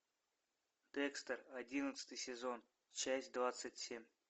декстер одиннадцатый сезон часть двадцать семь